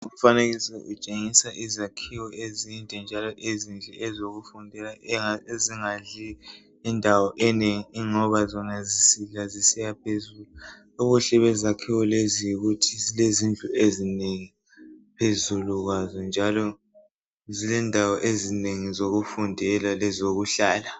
Umfanekiso utshengisa izakhiwa ezinde njalo ezinhle ezokufundela ezingadli indawo enengi ngoba zona sisidla zisiya phezulu ubuhle bezakhiyo lezi yikuthi zilezindlu ezinengi phezulu kwazo njalo zilendawo ezinengi zokufundele lezokuhlala.